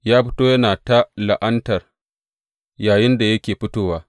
Ya fito yana ta la’anta yayinda yake fitowa.